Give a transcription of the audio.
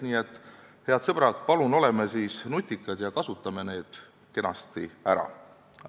Nii et, head sõbrad, palun oleme nutikad ja kasutame need kenasti ära!